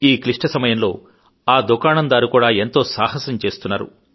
ఈ క్లిష్ట సమయంలో ఆదుకాణందారు కూడా ఎంతో సాహసం చేస్తున్నాడు